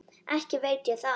Ekki veit ég það.